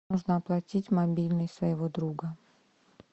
нужно оплатить мобильный своего друга